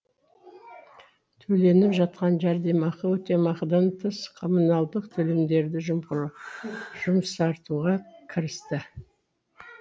төленіп жатқан жәрдемақы өтемақыдан тыс коммуналдық төлемдерді жұмсартуға кірісті